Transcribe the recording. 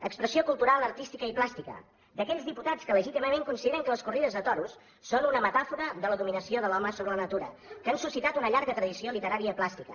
expressió cultural artística i plàstica d’aquells diputats que legítimament consideren que les corrides de toros són una metàfora de la dominació de l’home sobre la natura que han suscitat una llarga tradició literària i plàstica